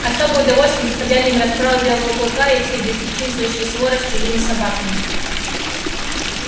особенное удовольствие доставляли им расправы белого клыка и всей бесчинствующей своры с чужими собаками